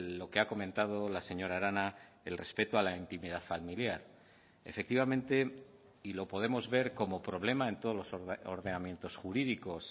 lo que ha comentado la señora arana el respeto a la intimidad familiar efectivamente y lo podemos ver como problema en todos los ordenamientos jurídicos